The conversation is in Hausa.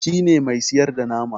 shi ne Mai siyarda nama